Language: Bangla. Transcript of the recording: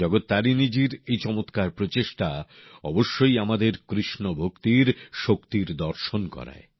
জগত্তারিণীজির এই চমৎকার প্রচেষ্টা অবশ্যই আমাদের কৃষ্ণভক্তির শক্তির দর্শন করায়